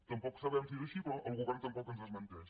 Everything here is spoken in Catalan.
tampoc sabem si és així però el govern tampoc ens ho desmenteix